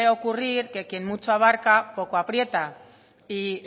ocurrir que quien mucho abarca poco aprieta y